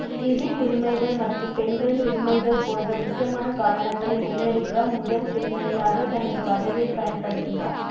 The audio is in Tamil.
சிவில் உரிமைகள் மற்றும் பெண்களின் உரிமைகள் போன்ற முக்கியமான காரணங்களை முன்னெடுக்க முதல் பெண்மணியாக தனது பதவியை பயன்படுத்தினார்